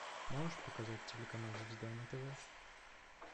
можешь показать телеканал звезда на тв